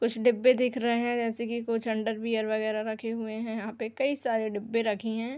कुछ डिब्बे दिख रहे है जैसे कि कुछ अंडरवियर वगेरा रखे हुए हैं। यहाँ पे कई सारे डिब्बे रखे हैं।